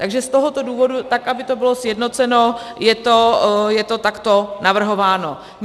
Takže z tohoto důvodu, tak aby to bylo sjednoceno, je to takto navrhováno.